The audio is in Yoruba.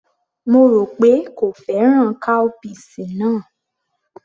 Mo rò pé kò fẹ́ràn cowpeas náà